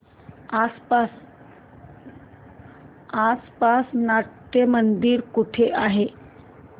आसपास नाट्यमंदिर कुठे आहे